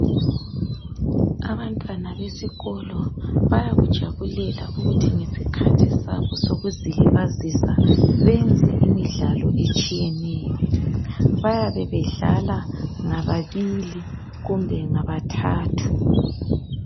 Abantwana besikolo bayakujabulela ukuthi ngesikhathi sabo sokuzilibazisa benze imidlalo etshiyeneyo. Bayabe bedlala ngababili kumbe ngabathathu.